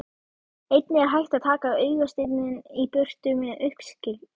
Einnig er hægt að taka augasteininn í burtu með uppskurði.